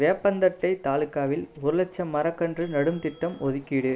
வேப்பந்தட்டை தாலுகாவில் ஒரு லட்சம் மரக்கன்று நடும் திட்டம் ஒதுக்கீடு